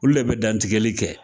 Olu de bɛ dantigɛli kɛ